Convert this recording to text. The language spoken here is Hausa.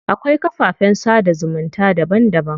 Akwai kafafen sada zumunta daban daban.